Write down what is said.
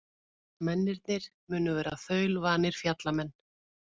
Mennirnir munu vera þaulvanir fjallamenn